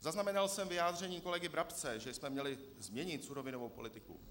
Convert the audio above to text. Zaznamenal jsem vyjádření kolegy Brabce, že jsme měli změnit surovinovou politiku.